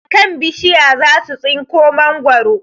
A kan bishiya za su tsinko mangwaro